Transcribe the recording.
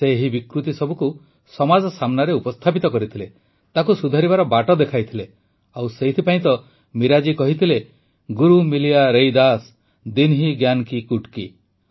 ସେ ଏହି ବିକୃତି ସବୁକୁ ସମାଜ ସାମ୍ନାରେ ଉପସ୍ଥାପିତ କରିଥିଲେ ତାକୁ ସୁଧାରିବାର ବାଟ ଦେଖାଇଥିଲେ ଆଉ ସେଥିପାଇଁ ତ ମୀରା ଜୀ କହିଥିଲେ ଗୁରୁ ମିଲିୟା ରୈଦାସ ଦିନ୍ହି ଜ୍ଞାନ କୀ ଗୁଟ୍କୀ